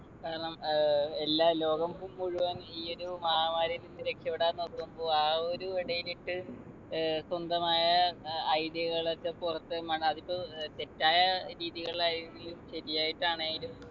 കാരണം ഏർ എല്ലാ ലോകം ഫു മുഴുവൻ ഈ ഒരു മഹാമാരിയിൽ നിന്ന് രക്ഷപ്പെടാൻ നോക്കുമ്പോ ആ ഒരു ഇടയിലേക്ക് ഏർ സ്വന്തമായ ഏർ idea കൾ ഒക്കെ പുറത്ത് അതിപ്പൊ ഏർ തെറ്റായ രീതികൾ ആയെങ്കിലും ശരിയായിട്ട് ആണെലും